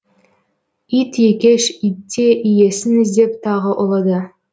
ит екеш итте иесін іздеп тағы ұлыды